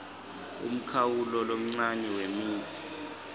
umkhawulo lomncane wemitsi